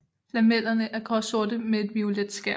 Lamellerne er gråsorte med et violet skær